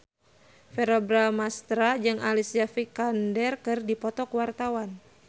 Verrell Bramastra jeung Alicia Vikander keur dipoto ku wartawan